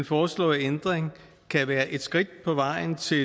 foreslåede ændring kan være et skridt på vejen til